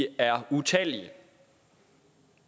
er utallige